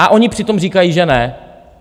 A oni přitom říkají, že ne.